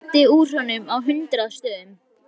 Það blæddi úr honum á hundrað stöðum.